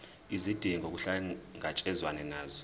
izidingo kuhlangatshezwane nazo